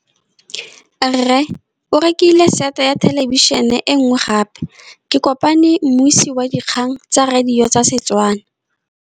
Rre o rekile sete ya thêlêbišênê e nngwe gape. Ke kopane mmuisi w dikgang tsa radio tsa Setswana.